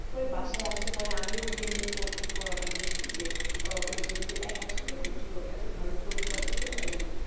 তো বাসায় আসলে পরে আমি ওকে নিয়ে পড়াতে বসে যে ওই যেহেতু একা ছোট মানুষ তো এত ভালো করে তো আর করতে পারবে না